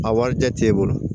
A warijɛ t'e bolo